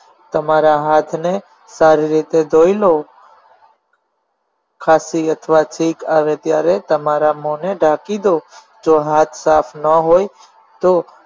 તમારા હાથને સારી રીતે ધોઈ લો ખાંસી અથવા છીંક આવે ત્યારે તમારા મોને ઢાંકી દો જો હાથ સાફ ન હોય તો